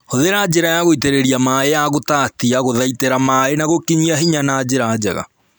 Hũthĩra njĩra ya gũitĩrĩria maĩĩ ya gũtatia gũthaitĩra maĩĩ na gũkinyia hinya na njĩra njega